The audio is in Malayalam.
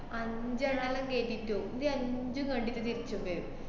അഞ്ചെണ്ണാലും കേറ്റിറ്റോം. ഇത് അഞ്ചും കണ്ടിട്ട് തിരിച്ച് കൊണ്ടെരും.